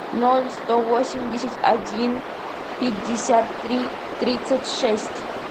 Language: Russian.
ноль сто восемьдесят один пятьдесят три тридцать шесть